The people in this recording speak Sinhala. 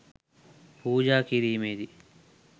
පූජා කිරීමේදී